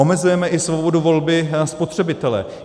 Omezujeme i svobodu volby spotřebitele.